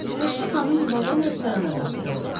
İsveçli xanım vaqon restorana daxil oldu.